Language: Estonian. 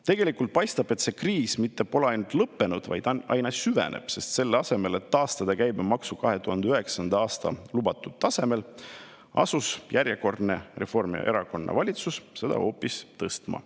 Tegelikult paistab, et see kriis mitte ainult et pole lõppenud, vaid aina süveneb, sest selle asemel et taastada käibemaks 2009. aasta lubatud tasemel, asus järjekordne Reformierakonna valitsus seda hoopis tõstma.